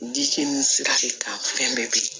Di ni sira de kan fɛn bɛɛ